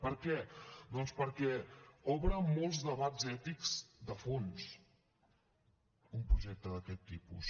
per què doncs perquè obre molts debats ètics de fons un projecte d’aquest tipus